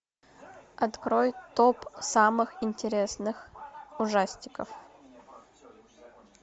открой топ самых интересных ужастиков